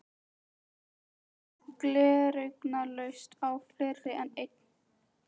Hún las gleraugnalaust á fleiri en einn